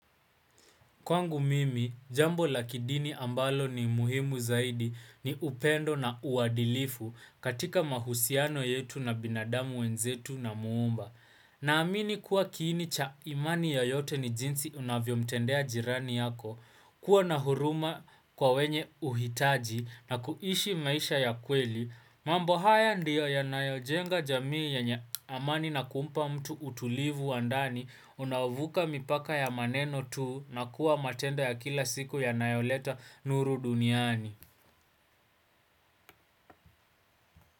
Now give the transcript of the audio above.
Kwangu mimi, jambo la kidini ambalo ni muhimu zaidi ni upendo na uwadilifu katika mahusiano yetu na binadamu wenzetu na muumba. Naamini kuwa kiini cha imani ya yote ni jinsi unavyomtendea jirani yako, kuwa na huruma kwa wenye uhitaji na kuishi maisha ya kweli. Mambo haya ndiyo yanayojenga jamii yenye amani na kumpa mtu utulivu wa ndani Unaovuka mipaka ya maneno tu na kuwa matendo ya kila siku yanayoleta nuru duniani.